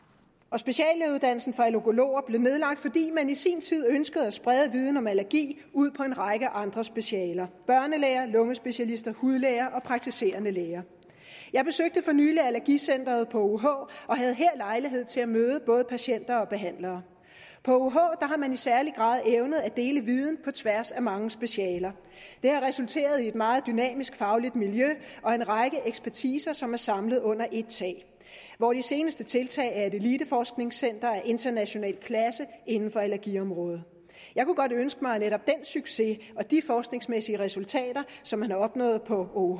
speciallægeuddannelsen for allergologer blev nedlagt fordi man i sin tid ønskede at sprede viden om allergi ud på en række andre specialer børnelæger lungespecialister hudlæger og praktiserende læger jeg besøgte for nylig allergicenteret på ouh og havde her lejlighed til at møde både patienter og behandlere på ouh har man i særlig grad evnet at dele viden på tværs af mange specialer det har resulteret i et meget dynamisk fagligt miljø og en række ekspertiser som er samlet under ét tag hvor det seneste tiltag er et eliteforskningscenter af international klasse inden for allergiområdet jeg kunne godt ønske mig at netop den succes og de forskningsmæssige resultater som man har opnået på ouh